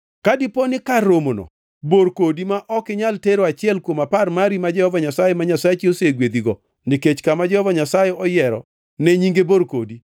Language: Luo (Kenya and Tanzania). Ka dipo ni kar romono bor kodi ma ok inyal tero achiel kuom apar mari ma Jehova Nyasaye ma Nyasachi osegwedhigo (nikech kama Jehova Nyasaye oyiero ne Nyinge bor kodi),